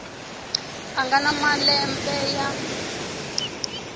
a nga na malembe ya